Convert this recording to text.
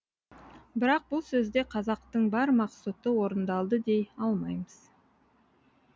бірақ бұл сөзде қазақтың бар мақсұты орындалды дей алмаймыз